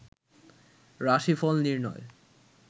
রাশিফল নির্ণয়